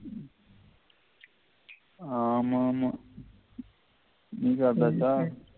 ஆமாமா நீ சாப்டாச்சா